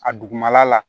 A dugumala la